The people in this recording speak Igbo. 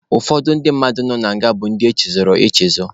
Ụfọdụ ndị mmadụ nọ na nga bụ ndị echezọrọ echezọ.